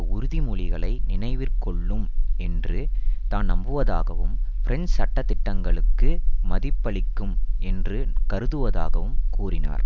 உறுதிமொழிகளை நினைவிற்கொள்ளும் என்று தான் நம்புவதாகவும் பிரெஞ்சு சட்ட திட்டங்களுக்கு மதிப்பளிக்கும் என்று கருதுவதாகவும் கூறினார்